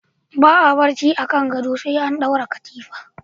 Ba a barci akan gado sai an dora katifa.